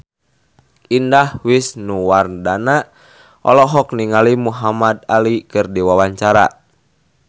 Indah Wisnuwardana olohok ningali Muhamad Ali keur diwawancara